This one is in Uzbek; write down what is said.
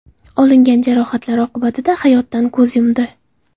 olingan jarohatlar oqibatida hayotdan ko‘z yumdi.